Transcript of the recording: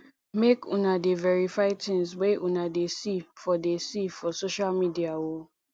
make una dey verify tins wey una dey see for dey see for social media o